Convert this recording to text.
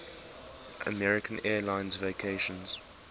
american airlines vacations